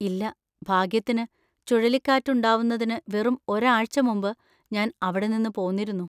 ഇല്ല, ഭാഗ്യത്തിന്, ചുഴലിക്കാറ്റ് ഉണ്ടാവുന്നതിന് വെറും ഒരാഴ്ച മുമ്പ് ഞാൻ അവിടെ നിന്ന് പോന്നിരുന്നു.